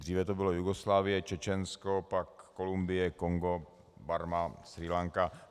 Dříve to byla Jugoslávie, Čečensko, pak Kolumbie, Kongo, Barma, Srí Lanka.